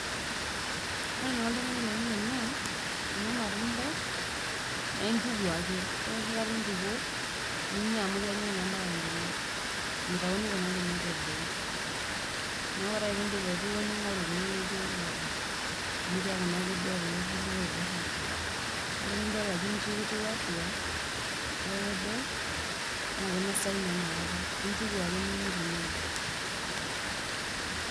Ore enaiko oltungani penya ena,, ena matunda, na intukuo ake ore onoshi kataa intukuo ore enoshi kataa intukuo ninyia amapaka inkinyat mitayuni inkinyat eboo na ore pindip aitukuo ningor kulolaijio keoto amu kiaku kedua naa kulo kulie oibor atua na tenidol ajo inji etiu atua ijio kedoo na intuku ake ninyia etiu neijia.